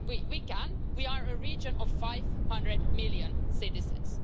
We can we are a region of 500 million citizens.